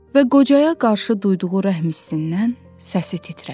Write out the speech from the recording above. Və qocaya qarşı duyduğu rəhm hissindən səsi titrədi.